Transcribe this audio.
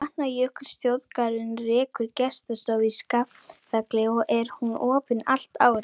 Vatnajökulsþjóðgarður rekur gestastofu í Skaftafelli og er hún opin allt árið.